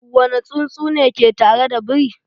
Wane tsuntsu ne ke tare da biri?